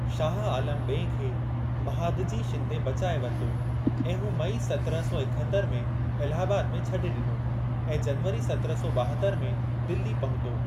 शाह आलम ॿिएं खे महादजी शिंदे बचाए वरितो ऐं हू मई सत्रहं सौ एकहतरि में इलाहाबाद में छ्ॾे ॾिनो ऐं जनवरी सत्रहं सौ ॿाहतरि में दिल्ली पहुतो।